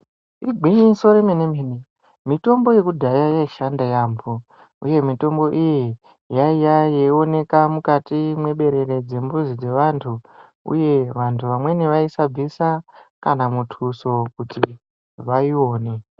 Igwinyiso remene mene mitombo yekudhaya yaishanda yaambo uye mitombo iyi yaiya yeioneka mukati mweberere mwembuzi dzevantu uye vantu vamweni vaisa bvisa kana muthuso kuti vaione.